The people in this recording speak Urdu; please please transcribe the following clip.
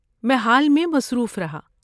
میں حال میں مصروف رہا۔